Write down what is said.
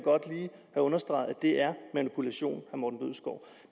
understreget er manipulation